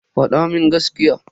Fada mun gaskiya.